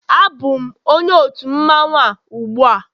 Abụm onye otu mmanwụ a ugbua